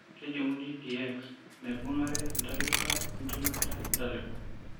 Kejung'uni teX naibung'are entalipa enchumata entalipa.